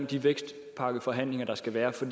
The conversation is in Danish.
de vækstpakkeforhandlinger der skal være for